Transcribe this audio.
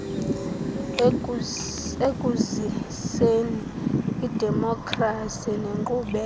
ekuziseni idemokhrasi nenkqubela